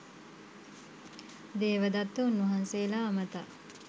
දේවදත්ත උන්වහන්සේලා අමතා